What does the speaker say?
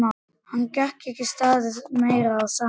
Henni gat ekki staðið meira á sama.